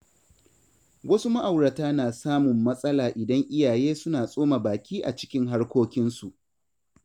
Wasu ma’aurata na samun matsala idan iyaye suna tsoma baki a cikin harkokinsu.